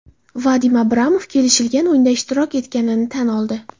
Vadim Abramov kelishilgan o‘yinda ishtirok etganini tan oldi.